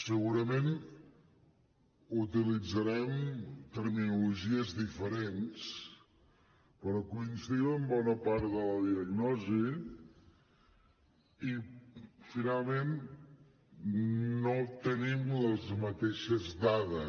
segurament utilitzarem terminologies diferents però coincidim en bona part de la diagnosi i finalment no tenim les mateixes dades